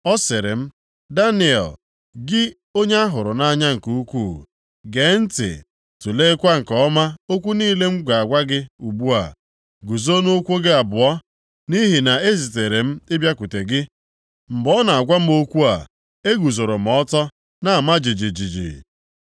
Ọ sịrị m, “Daniel, gị onye a hụrụ nʼanya nke ukwuu. Gee ntị tuleekwa nke ọma okwu niile m na-agwa gị ugbu a. Guzo nʼụkwụ gị abụọ, nʼihi na e zitere m ịbịakwute gị.” Mgbe ọ na-agwa m okwu a, eguzooro m ọtọ, na-ama jijiji.